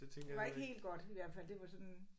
Det var ikke helt godt i hvert fald det var sådan